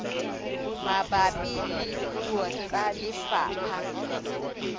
mabapi le puo tsa lefapha